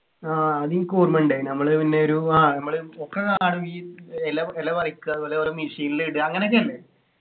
ആഹ് അതിനിക്കൊർമയുണ്ടെ നമ്മള് പിന്നെ ഒരു ആഹ് നമ്മള് ഒക്കെ കാണും ഈ ഇല ഇല പറിക്കാ ഓരോ machine ൽ ഇടുക അങ്ങനെയൊക്കെ അല്ലെ